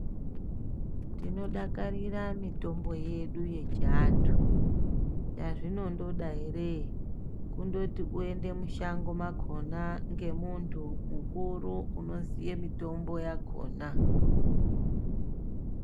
Tinodakarira mitombo yedu yechiantu. Zvazvinondoda ere kundoti kuenda mushango makona ngemuntu mukuru unoziya mitombo yakona